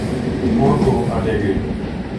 порту алегри